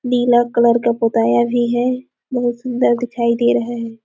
नीला colour का पोताया भी है बहुत सुंदर दिखाई दे रहा है।